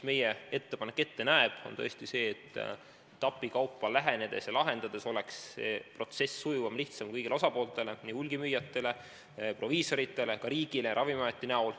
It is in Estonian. Meie ettepanek näeb tõesti ette, et etapikaupa lähenedes ja lahendades oleks see protsess sujuvam ja lihtsam kõigile osapooltele, hulgimüüjatele, proviisoritele ja ka riigile ehk Ravimiametile.